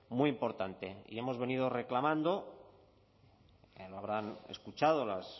muy importante y hemos venido reclamando lo habrán escuchado las